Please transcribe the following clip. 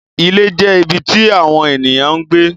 Ilé jẹ́ ibi tí àwọn ènìyàn ń gbé.